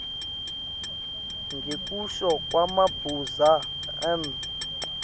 ngekusho kwamabuza m